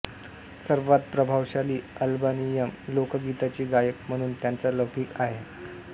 सर्वात प्रभावशाली अल्बानियन लोकगीताचे गायक म्हणून त्यांचा लौकिक आहे